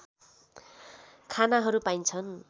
खानाहरू पाइन्छन्